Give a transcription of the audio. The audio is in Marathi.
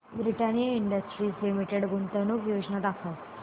ब्रिटानिया इंडस्ट्रीज लिमिटेड गुंतवणूक योजना दाखव